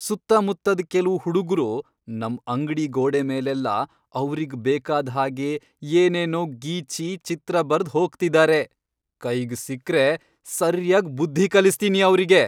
ಸುತ್ತಮುತ್ತದ್ ಕೆಲ್ವು ಹುಡುಗ್ರು ನಮ್ ಅಂಗ್ಡಿ ಗೋಡೆ ಮೇಲೆಲ್ಲ ಅವ್ರಿಗ್ ಬೇಕಾದ್ ಹಾಗೆ ಏನೇನೋ ಗೀಚಿ, ಚಿತ್ರ ಬರ್ದ್ ಹೋಗ್ತಿದಾರೆ, ಕೈಗ್ ಸಿಕ್ರೆ ಸರ್ಯಾಗ್ ಬುದ್ಧಿ ಕಲಿಸ್ತೀನಿ ಅವ್ರಿಗೆ.